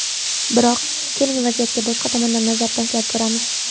Biroq, keling, vaziyatga boshqa tomondan nazar tashlab ko‘ramiz.